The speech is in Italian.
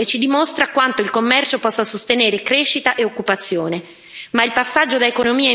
Questo dato è straordinario e ci dimostra quanto il commercio possa sostenere crescita e occupazione.